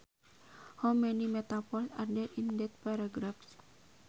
How many metaphors are there in that paragraph